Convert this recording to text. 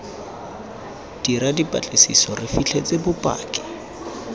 dira dipatlisiso re fitlhetse bopaki